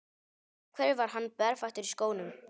Af hverju var hann berfættur í skónum?